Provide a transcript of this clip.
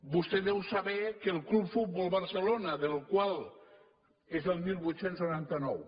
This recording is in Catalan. vostè deu saber que el club futbol barcelona el qual és del divuit noranta nou